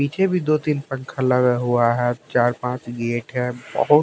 पीछे भी दो तीन पंखा लगा हुआ है चार पांच एक है बहुत--